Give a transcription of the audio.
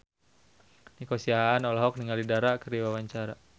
Nico Siahaan olohok ningali Dara keur diwawancara